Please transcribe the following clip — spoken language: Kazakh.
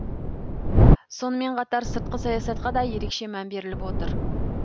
сонымен қатар сыртқы саясатқа да ерекше мән беріліп отыр